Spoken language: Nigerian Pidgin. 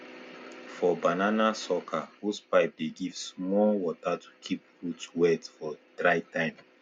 for banana sucker hosepipe dey give small water to keep root wet for dry time